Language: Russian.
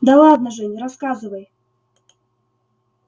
да ладно жень рассказывай